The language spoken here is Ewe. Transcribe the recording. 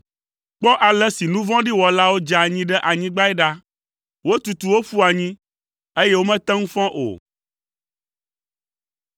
Kpɔ ale si nu vɔ̃ɖi wɔlawo dze anyi ɖe anyigbae ɖa; wotutu wo ƒu anyi, eye womete ŋu fɔ o!